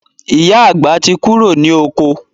Ìyá àgbà tí kúrò ní oko